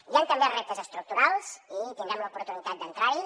i hi han també reptes estructurals i tindrem l’oportunitat d’entrarhi